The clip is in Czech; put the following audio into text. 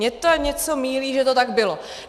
Mě to něco mýlí, že to tak bylo.